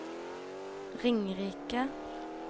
Ringerike